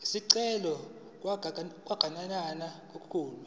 isicelo sokuganana kulesi